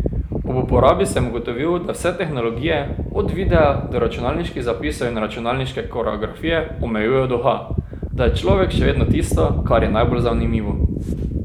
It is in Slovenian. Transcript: Ob uporabi sem ugotovil, da vse tehnologije, od videa do računalniških zapisov in računalniške koreografije omejujejo duha, da je človek še vedno tisto, kar je najbolj zanimivo.